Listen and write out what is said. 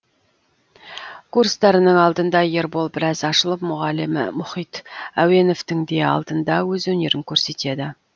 курстарының алдында ербол біраз ашылып мұғалімі мұхит әуеновтің де алдында өз өнерін көрсетеді